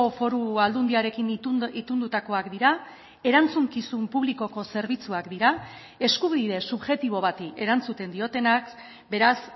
foru aldundiarekin itundutakoak dira erantzukizun publikoko zerbitzuak dira eskubide subjektibo bati erantzuten diotenak beraz